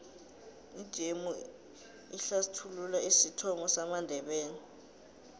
ijemu ihlsthulula isithomo samandebele